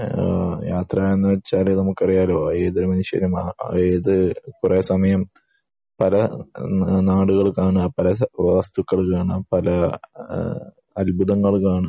യാത്ര എന്ന് പറഞ്ഞാൽ നമ്മക് അറിയാലോ . ഏത് നിമിഷം ഏത് കുറെ സമയം പല നാടുകൾ കാണുക പല വസ്തുക്കൾ കാണുക പല അത്ബുധങ്ങൾ കാണുക